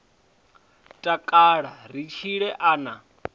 takala ri tshile a na